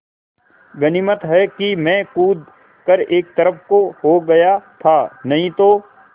गनीमत है मैं कूद कर एक तरफ़ को हो गया था नहीं तो